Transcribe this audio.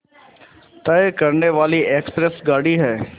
तय करने वाली एक्सप्रेस गाड़ी है